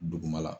Dugumala